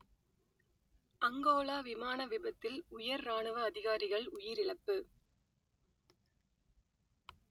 Angola விமான விபத்தில் உயர் இராணுவ அதிகாரிகள் உயிரிழப்பு